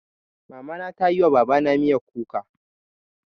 Mama na ta yi wa Baba na miyan kuka.